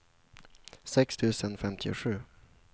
sex tusen femtiosju